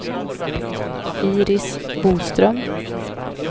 Iris Boström